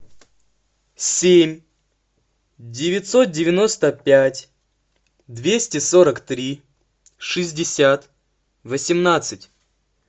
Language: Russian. семь девятьсот девяносто пять двести сорок три шестьдесят восемнадцать